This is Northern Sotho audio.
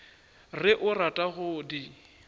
re o rata go di